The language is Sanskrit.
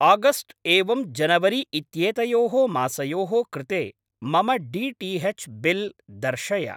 आगस्ट् एवं जनवरी इत्येतयोः मासयोः कृते मम डी.टी.एच्. बिल् दर्शय।